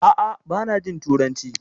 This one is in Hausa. A'a bana jin turanci